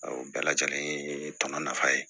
O bɛɛ lajɛlen ye tɔnɔ nafa ye